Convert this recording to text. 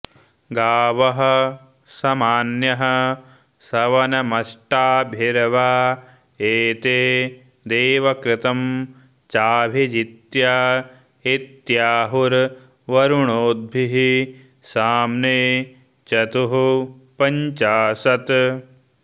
गावः॑ समा॒न्यः॑ सव॑नमष्टा॒भिर्वा ए॒ते दे॒वकृ॑तं चाऽभि॒जित्या॒ इत्या॑हु॒र्वरु॑णो॒द्भिः साम्ने॒ चतुः॑ पंचा॒शत्